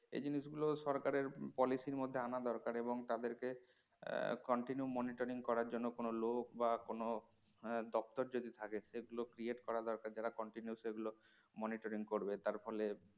এই জিনিসগুলো সরকারের policy এর মধ্যে আনা দরকার এবং তাদেরকে আহ continue monitoring করার জন্য কোন লোক বা কোন আহ দপ্তর যদি থাকে সেগুলো create করা দরকার যারা continue সেগুলি monitoring করবে তার ফলে